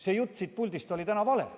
See jutt, mis siit puldist täna tuli, oli vale.